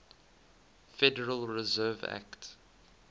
federal reserve act